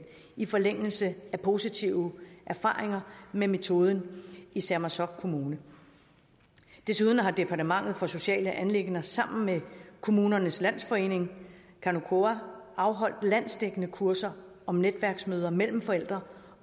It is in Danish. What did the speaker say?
i forlængelse af positive erfaringer med metoden i sermersooq kommune desuden har departementet for sociale anliggender sammen med kommunernes landsforening kanukoka afholdt landsdækkende kurser om netværksmøder mellem forældre